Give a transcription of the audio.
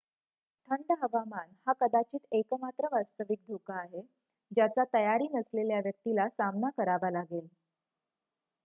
थंड हवामान हा कदाचित एकमात्र वास्तविक धोका आहे ज्याचा तयारी नसलेल्या व्यक्तीला सामना करावा लागेल